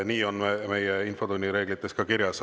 Nii on meie infotunni reeglites ka kirjas.